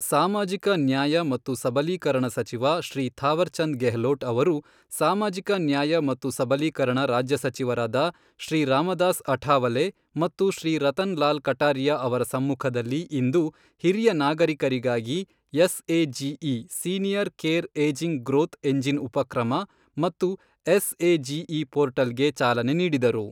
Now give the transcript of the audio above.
ಸಾಮಾಜಿಕ ನ್ಯಾಯ ಮತ್ತು ಸಬಲೀಕರಣ ಸಚಿವ ಶ್ರೀ ಥಾವರ್ಚಂದ್ ಗೆಹ್ಲೋಟ್ ಅವರು ಸಾಮಾಜಿಕ ನ್ಯಾಯ ಮತ್ತು ಸಬಲೀಕರಣ ರಾಜ್ಯ ಸಚಿವರಾದ ಶ್ರೀ ರಾಮದಾಸ್ ಅಠಾವಲೆ ಮತ್ತು ಶ್ರೀ ರತನ್ ಲಾಲ್ ಕಟಾರಿಯಾ ಅವರ ಸಮ್ಮುಖದಲ್ಲಿ ಇಂದು ಹಿರಿಯ ನಾಗರಿಕರಿಗಾಗಿ SAGE senior care ageing growth engine ಉಪಕ್ರಮ ಮತ್ತು ಎಸ್ಎಜಿಇ ಪೋರ್ಟಲ್ ಗೆ ಚಾಲನೆ ನೀಡಿದರು.